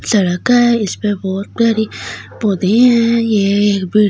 सड़का है इसमे बहुत प्यारी पौधे है ये एक बिर ये एक--